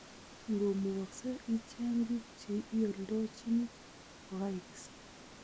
Ngo mugakse icheng biik che ioldojini kokaikes